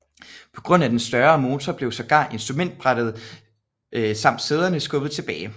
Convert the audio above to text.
På grund af den større motor blev sågar instrumentbrættet samt sæderne skubbet tilbage